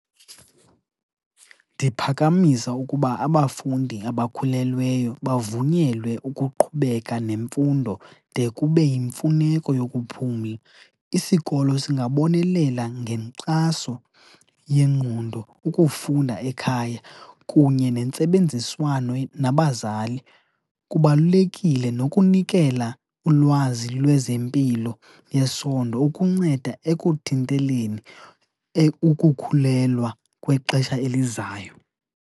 Ndiphakamisa ukuba abafundi abakhulelweyo bavunyelwe ukuqhubeka nemfundo de kube yimfuneko yokuphumla. Isikolo singabonelela ngenkxaso yengqondo, ukufunda ekhaya, kunye nentsebenziswano nabazali. Kubalulekile nokunikela ulwazi lwezempilo ngesondo ukunceda ekuthinteleni ukukhulelwa kwexesha elizayo.